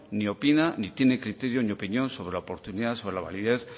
ni opina ni tiene criterio ni opinión sobre la oportunidad sobre la validez